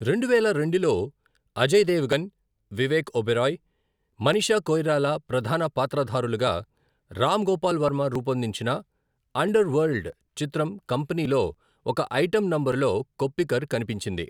రెండువేల రెండులో, అజయ్ దేవగన్, వివేక్ ఒబెరాయ్, మనీషా కొయిరాలా ప్రధాన పాత్రధారులుగా రామ్ గోపాల్ వర్మ రూపొందించిన అండర్వరల్డ్ చిత్రం కంపెనీలో ఒక ఐటెం నంబరులో కొప్పికర్ కనిపించింది.